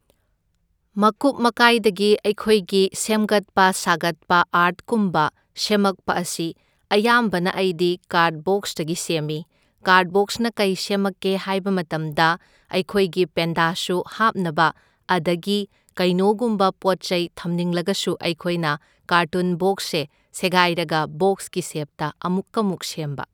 ꯃꯀꯨꯞ ꯃꯀꯥꯏꯗꯒꯤ ꯑꯩꯈꯣꯏꯒꯤ ꯁꯦꯝꯒꯠꯄ ꯁꯥꯒꯠꯄ ꯑꯥꯔꯠꯀꯨꯝꯕ ꯁꯦꯃꯛꯄ ꯑꯁꯤ ꯑꯌꯥꯝꯕꯅ ꯑꯩꯗꯤ ꯀꯥꯔꯠꯕꯣꯛꯁꯇꯒꯤ ꯁꯦꯝꯃꯤ ꯀꯥꯔꯠꯕꯣꯛꯁꯅ ꯀꯩ ꯁꯦꯃꯛꯀꯦ ꯍꯥꯏꯕ ꯃꯇꯝꯗ ꯑꯩꯈꯣꯏꯒꯤ ꯄꯦꯟꯗꯥ ꯁꯨ ꯍꯥꯞꯅꯕ ꯑꯗꯒꯤ ꯀꯩꯅꯣꯒꯨꯝꯕ ꯄꯣꯠ ꯆꯩ ꯊꯝꯅꯤꯡꯂꯒꯁꯨ ꯑꯩꯈꯣꯏꯅ ꯀꯥꯔꯇꯨꯟꯕꯣꯛꯁꯁꯦ ꯁꯦꯒꯥꯏꯔꯒ ꯕꯣꯛꯁꯀꯤ ꯁꯦꯞꯇ ꯑꯃꯨꯛꯀ ꯃꯨꯛ ꯁꯦꯝꯕ